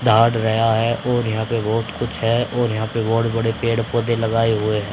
दहाड़ रेया है और यहां पे बहोत कुछ है और यहां पे बहोत बड़े पेड़ पौधे लगाए हुए हैं।